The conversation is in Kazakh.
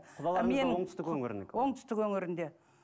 оңтүстік өңірінікі оңтүстік өңірінде